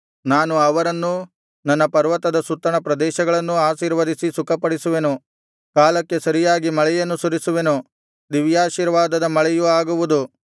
ನಾನು ಅವರನ್ನೂ ನನ್ನ ಪರ್ವತದ ಸುತ್ತಣ ಪ್ರದೇಶಗಳನ್ನೂ ಆಶೀರ್ವದಿಸಿ ಸುಖಪಡಿಸುವೆನು ಕಾಲಕ್ಕೆ ಸರಿಯಾಗಿ ಮಳೆಯನ್ನು ಸುರಿಸುವೆನು ದಿವ್ಯಾಶೀರ್ವಾದದ ಮಳೆಯು ಆಗುವುದು